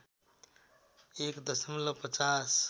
१ दशमलव ५०